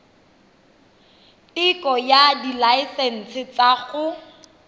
teko ya dilaesense tsa go